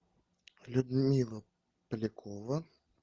людмила полякова